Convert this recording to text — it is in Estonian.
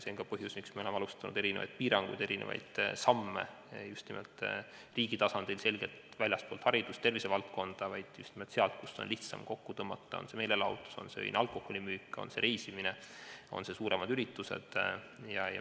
See on ka põhjus, miks me oleme alustanud erinevaid piiranguid ja astunud erinevaid samme just nimelt riigi tasandil selgelt väljaspool haridust ja tervisevaldkonda, just nimelt seal, kust on lihtsam kokku tõmmata – olgu see meelelahutus, öine alkoholimüük, reisimine, suuremad üritused.